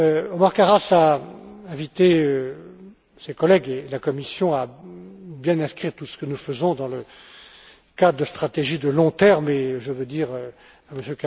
Othmar Karas a invité ses collègues et la Commission à bien inscrire tout ce que nous faisons dans le cadre de stratégies de long terme, et je veux dire